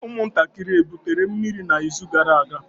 Ụmụntakịrị ebutere mmiri n'izu gara aga?